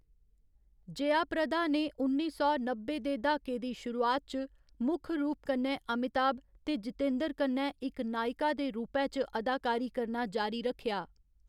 जयाप्रदा ने उन्नी सौ नब्बै दे द्हाके दी शुरुआत च मुक्ख रूप कन्नै अमिताभ ते जितेंद्र कन्नै इक नायिका दे रूपै च अदाकारी करना जारी रक्खेआ।